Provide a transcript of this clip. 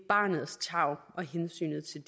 barnets tarv og hensynet til